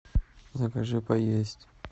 закажи поесть